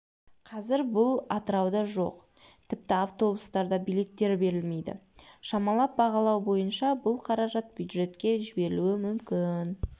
қазір бұл атырауда жоқ тіпті автобустарда билеттер берілмейді шамалап бағалау бойынша бұл қаражат бюджетке жіберілуі мүмкін